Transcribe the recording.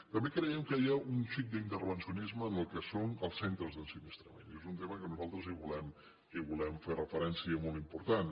també creiem que hi ha un xic d’intervencionisme en el que són els centres d’ensinistrament i és un tema que nosaltres hi volem fer una referència molt important